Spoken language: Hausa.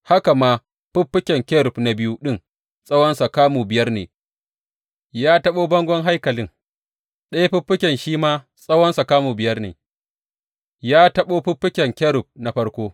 Haka ma fiffiken kerub na biyu ɗin tsawonsa kamu biyar ne, ya taɓo bangon haikalin, ɗaya fiffiken shi ma tsawonsa kamu biyar ne, ya taɓo fiffiken kerub na farko.